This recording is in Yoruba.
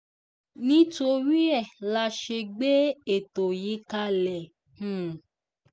nítorí ẹ̀ la ṣe gbé ètò yìí kalẹ̀ um